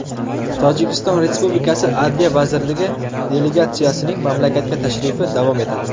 Tojikiston Respublikasi Adliya vazirligi delegatsiyasining mamlakatga tashrifi davom etadi.